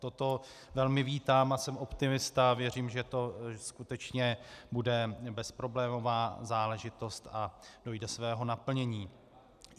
Toto velmi vítám a jsem optimista a věřím, že to skutečně bude bezproblémová záležitost a dojde svého naplnění.